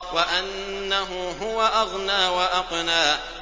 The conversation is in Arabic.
وَأَنَّهُ هُوَ أَغْنَىٰ وَأَقْنَىٰ